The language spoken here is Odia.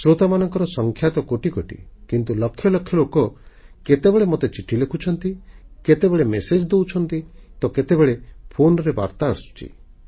ଶ୍ରୋତାମାନଙ୍କ ସଂଖ୍ୟା ତ କୋଟି କୋଟି କିନ୍ତୁ ଲକ୍ଷ ଲକ୍ଷ ଲୋକ କେତେବେଳେ ମୋତେ ଚିଠି ଲେଖୁଛନ୍ତି କେତେବେଳେ ମେସେଜ୍ ବା ସନ୍ଦେଶ ଦେଉଛନ୍ତି ତ କେତେବେଳେ ଫୋନରେ ବାର୍ତ୍ତା ଆସୁଛି